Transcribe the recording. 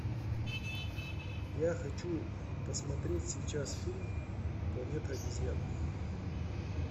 я хочу посмотреть сейчас фильм планета обезьян